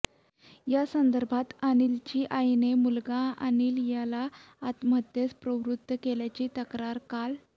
या संदर्भात अनिलची आईने मुलगा अनिल याला आत्महत्येस प्रवृत्त केल्याची तक्रार काल